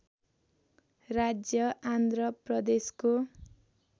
राज्य आन्ध्र प्रदेशको